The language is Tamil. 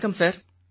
வணக்கம் சார்